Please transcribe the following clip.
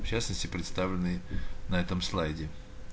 в частности представлены на этом слайде